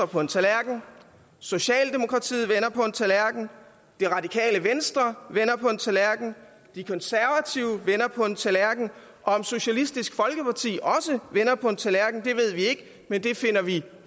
på en tallerken socialdemokratiet vender på en tallerken radikale venstre vender på en tallerken de konservative vender på en tallerken og om socialistisk folkeparti også vender på en tallerken ved vi ikke men det finder vi